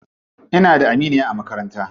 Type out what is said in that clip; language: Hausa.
Ina da aminiya a makaranta.